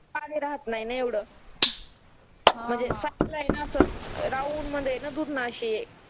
पाणी राहत नाही न एवढ म्हणजे साईडला ये ना असं राऊंड मध्ये ना दुधना अशी